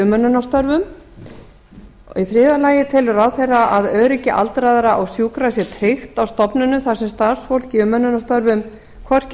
umönnunarstörfum þriðja telur ráðherra að öryggi aldraðra og sjúkra sé tryggt á stofnunum þar sem starfsfólk í umönnunarstörfum hvorki